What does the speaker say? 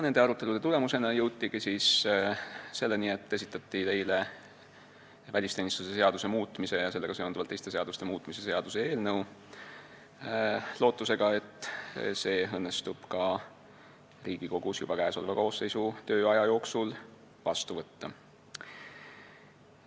Nende arutelude tulemusena jõutigi selleni, et esitati teile välisteenistuse seaduse muutmise ja sellega seonduvalt teiste seaduste muutmise seaduse eelnõu, lootusega, et see õnnestub Riigikogus juba praeguse koosseisu tööaja jooksul vastu võtta.